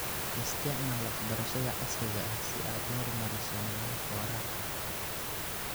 Isticmaal waxbarashada casriga ah si aad u horumariso nidaamka waraabka.